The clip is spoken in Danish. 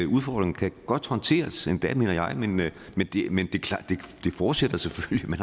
udfordringer kan godt håndteres endda mener jeg men det forudsætter selvfølgelig